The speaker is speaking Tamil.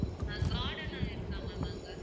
garden அங்க இருக்கா ma'am அங்க